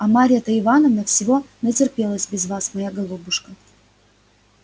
а марья-то ивановна всего натерпелась без вас моя голубушка